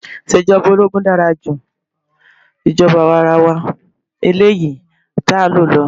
Ìṣèjọba ológun dára ju ìjọba àwarawa eléyìí tí a ń lò lọ.